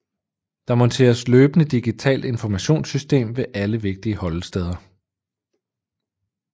Der monteres løbende digitalt informationssystem ved alle vigtige holdesteder